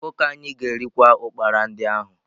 Ọkụkọ anyị ga-erikwa ụkpara ndị ahụ